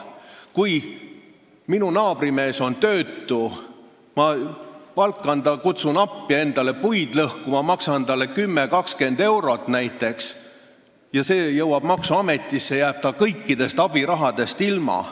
Kui minu naabrimees on töötu, ma palkan ta, kutsun appi endale puid lõhkuma ja maksan talle näiteks 10–20 eurot ning see jõuab maksuametini, jääb ta kõikidest abirahadest ilma.